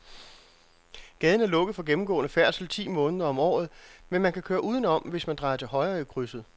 Gaden er lukket for gennemgående færdsel ti måneder om året, men man kan køre udenom, hvis man drejer til højre i krydset.